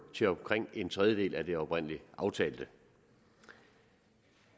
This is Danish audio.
til omkring en tredjedel af det oprindelig aftalte